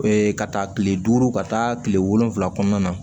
ka taa kile duuru ka taa kile wolonwula kɔnɔna na